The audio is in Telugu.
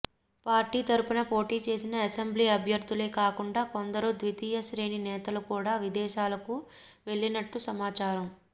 పార్టీ తరపున పోటీ చేసిన అసెంబ్లీ అభ్యర్ధులే కాకుండా కొందరు ద్వితీయ శ్రేణి నేతలు కూడా విదేశాలకు వెళ్ళినట్లు సమాచారం